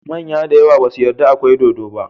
Manya dayawa basu yada akwai dodo ba